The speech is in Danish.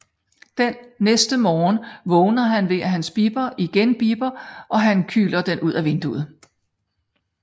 Den næste morgen vågner han ved at hans bipper igen bipper og han kyler den ud af vinduet